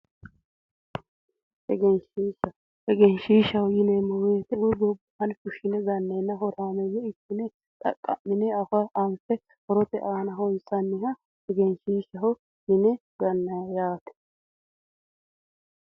Egenishiishaha Egenishiishaho yineemo woyite eoyi gobaanni fushine ganneenna horaameeyye ikkine xaqa'mine anife horote aana honisanniha egenishiishaho yine gannay yaate